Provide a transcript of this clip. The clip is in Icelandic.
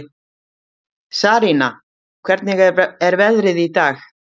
Sarína, hvernig er veðrið í dag?